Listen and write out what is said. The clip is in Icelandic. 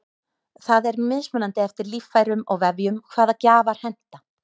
það er mismunandi eftir líffærum og vefjum hvaða gjafar henta